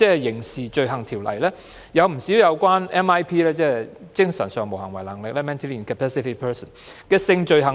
《刑事罪行條例》訂明不少有關精神上無行為能力的人的性罪行。